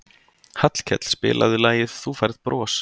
Hallkell, spilaðu lagið „Þú Færð Bros“.